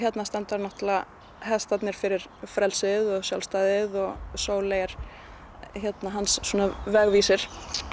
standa hestarnir fyrir frelsið og sjálfstæðið og Sóley er hans vegvísir